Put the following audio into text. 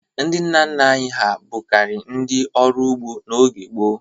Ndị nna nna anyị ha bụkarị ndị ọrụ ugbo n'oge gboo.